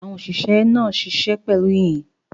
Àwọn òṣìṣẹ́ náà ṣiṣẹ́ pẹ̀lú ìyìn.